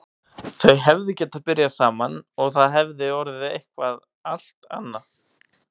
Þau hefðu getað byrjað saman og það hefði orðið eitthvað allt annað.